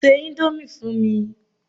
Ṣé ìndòmí fún mi!